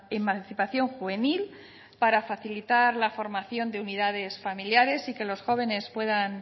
emancipación juvenil para facilitar la formación de unidades familiares y que los jóvenes puedan